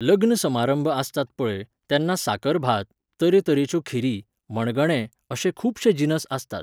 लग्न समारंभ आसतात पळय, तेन्ना साकर भात, तरेतरेच्यो खिरी, मणगणें, अशे खुबशे जिनस आसतात.